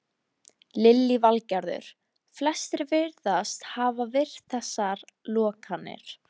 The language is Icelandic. Lillý Valgerður: Flestir virðast hafa virt þessar lokanir?